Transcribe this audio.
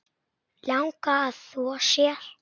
Langar að þvo sér.